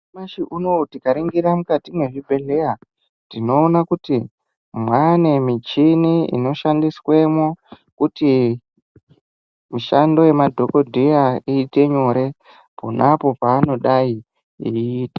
Nyamashi unou tikaringira mukati mezvibhedhleya tinoone kuti mwaanemichini inoshandiswemwo kuti mishando yamadhokodheya iite nyore pona apo paanodai eiite mishando.